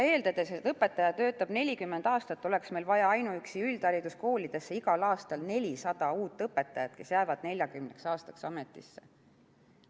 Eeldades, et õpetaja töötab 40 aastat, oleks meil vaja ainuüksi üldhariduskoolidesse igal aastal 400 uut õpetajat, kes jäävad 40 aastaks ametisse.